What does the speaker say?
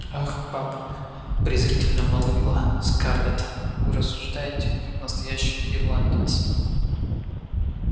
ах папа презрительно молвила скарлетт вы рассуждаете как настоящий ирландец